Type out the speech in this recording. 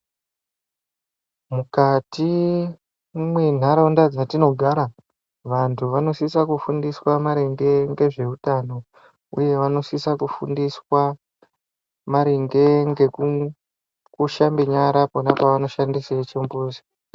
Mukati mwenharaunda dzatinogara vantu vanosise kufundiswa maringe ngezveutano uye vanosisa kufundiswa maringe ngekushambe nyara pavanenge vashandise chimbuzi.